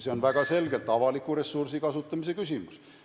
See on väga selgelt avaliku ressursi kasutamise küsimus.